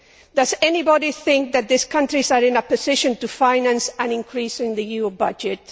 Does anybody think that these countries are in a position to finance an increase in the EU budget?